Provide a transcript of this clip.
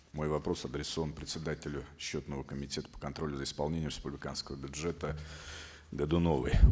мой вопрос адресован председателю счетного комитета по контролю за исполнением республиканского бюджета годуновой